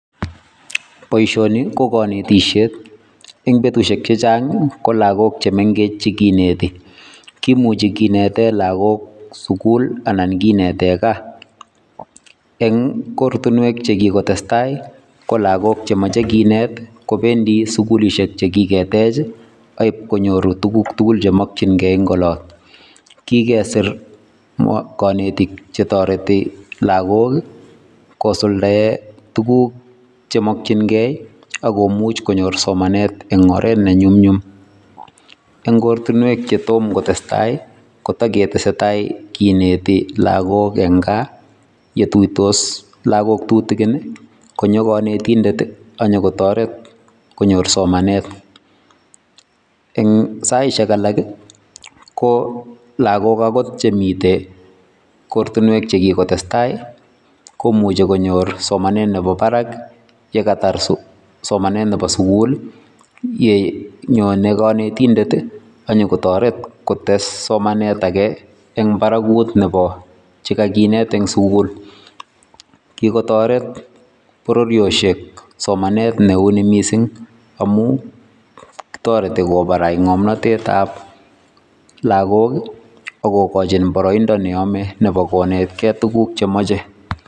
Boisioni ko kanetisiet eng betusiek chechang ko lagok chemengech chekineti kimuchi kinete lagok sukul anan kinete gaa eng kortunwek chekikotestai ko lagok chemoje kinet kopendi sukulisiek chekiketech akipkonyoru tuguk tugul chemokyingei eng olot kikesir kanetik chetoreti lagok kosuldae tuguk chemokyingei akomuch konyor somanet eng oret ne nyumnyum. Eng koratinwek chetom kotestai kotagetesetai kineti lagok eng gaa yetuitos lagok tutigini konyo kanetindeti anyo kotoret konyor somanet. Eng saisiek alaki ko lagok angot chemite kortinwek chekiko testai komuchi konyor somanet nebo barak yekatar somanet nebo sugul yenyone kanetindeti anyiko toret kotes somanetage eng barakut nebo chekakinet eng sukul kikotoret bororiosiek somanet neuni mising amu toreti kobarai ngomnotetab lagok akokachi boroindo neyome nebo konetkei tuguk chemoche.